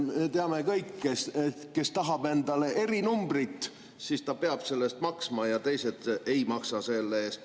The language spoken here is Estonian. Me teame kõik, kes tahab endale erinumbrit, see peab selle eest maksma ja teised ei maksa selle eest.